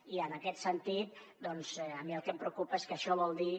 i en aquest sentit a mi el que em preocupa és que això vol dir